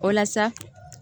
O la sa